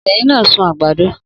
Obinrin na sun agbado